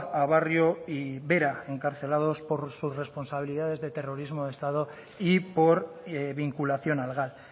a barrionuevo y vera encarcelados por sus responsabilidades de terrorismo de estado y por vinculación al gal